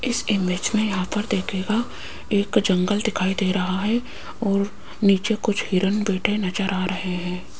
इस इमेज में यहां पर देखिएगा एक जंगल दिखाई दे रहा है और नीचे कुछ हिरन बैठे नजर आ रहे हैं।